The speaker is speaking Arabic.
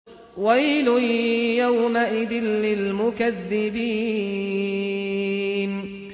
وَيْلٌ يَوْمَئِذٍ لِّلْمُكَذِّبِينَ